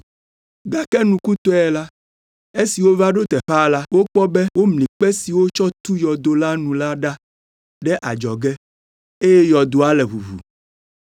Gake nukutɔe la, esi wova ɖo teƒea la, wokpɔ be womli kpe si wotsɔ tu yɔdo la nu la da ɖe adzɔge eye yɔdoa le ʋuʋu.